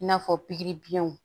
I n'a fɔ pikiribiyɛnw